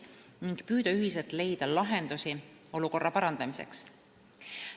Ühiselt püütakse leida lahendusi olukorra parandamiseks.